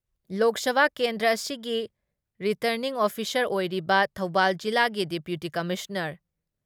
ꯂꯣꯛ ꯁꯚꯥ ꯀꯦꯟꯗ꯭ꯔ ꯑꯁꯤꯒꯤ returning officer ꯑꯣꯏꯔꯤꯕ ꯊꯧꯕꯥꯜ ꯖꯤꯂꯥꯒꯤ ꯗꯤꯄ꯭ꯌꯨꯇꯤ ꯀꯝꯃꯤꯁꯅꯥꯔ